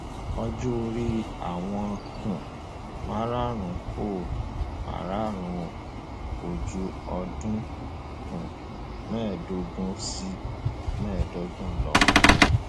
ọjọ orí àwọn um márààrún kò márààrún o kò ju ọdún um mẹẹẹdógún sí mẹẹẹdọgbọn lọ